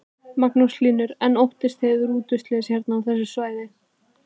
Magnús Hlynur: En óttist þið rútuslys hérna á þessu svæði?